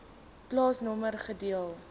plaasnommer gedeelte